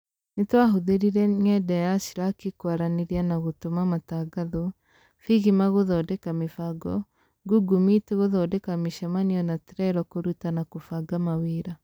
Nĩtwahũthïrire ng'enda ya sraki kwaranĩria na gũtũma matangatho, figima gũthondeka mĩbango, google meet gũthondeka mĩcemanio na trello kũruta na kũbanga mawĩra.